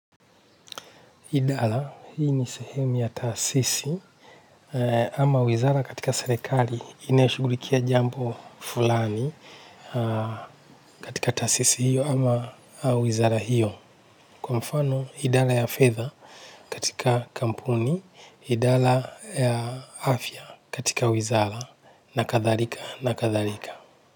Idara, hii ni sehemu ya taasisi ama wizara katika serikali inayo shughulikia jambo fulani katika taasisi hiyo ama wizara hiyo. Kwa mfano idara ya fedha katika kampuni, idara ya afya katika wizara na kathalika na kathalika.